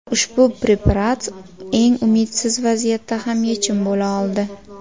Ushbu preparat eng umidsiz vaziyatda ham yechim bo‘la oldi.